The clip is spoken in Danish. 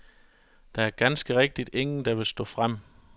Der er ganske rigtigt ingen, der vil stå frem.